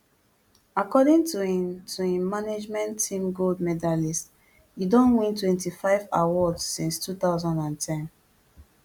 according to im to im management team gold medalist e don win twenty-five awards since two thousand and ten